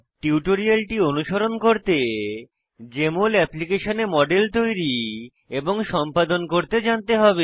টিউটোরিয়ালটি অনুসরণ করতে জেএমএল অ্যাপ্লিকেশনে মডেল তৈরী এবং সম্পাদন করতে জানতে হবে